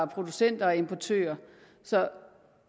producenter og importører så